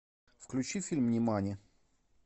включи фильм нимани